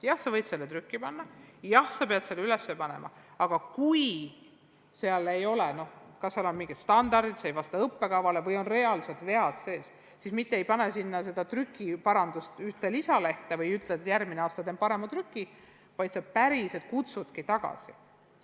Jah, sa võid selle trükki anda, jah, sa pead selle üles panema, aga kui see materjal ei vasta õppekavale või tekstis on reaalsed vead sees, siis ei pane sa sinna juurde seda ühte trükiparandustega lisalehte ega ütle, et järgmine aasta teen parema trüki, vaid sa päriselt kutsudki õpikud tagasi.